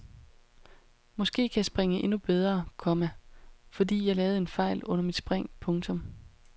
Måske kan jeg springe endnu bedre, komma fordi jeg lavede en fejl under mit spring. punktum